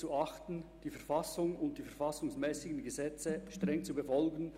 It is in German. Ich bitte Herrn Daniel Gerber, nach vorne zu kommen.